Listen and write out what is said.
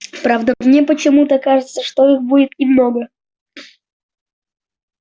правда мне почему-то кажется что их будет немного